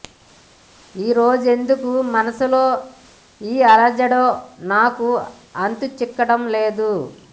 ఈ రోజెందుకు మనసులో ఈ అలజడో నాకు అంతు చిక్కడం లేదు